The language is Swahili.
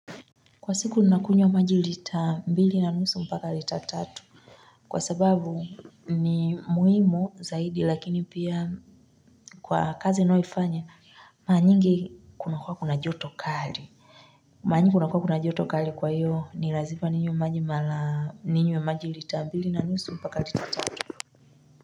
Kwa siku ninakunyea maji lita mbili na nusu mpaka lita tatu kwa sababu ni muhimu zaidi lakini pia kwa kazi ninayoifanya mara nyingi kuna kwa kuna joto kali mara nyingi kuna kwa kuna joto kali kwa iyo ni lazipa ninywe maji mala ninywe maji lita mbili na nusu mpaka lita tatu.